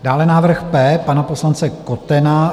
Dále návrh P pana poslance Kotena.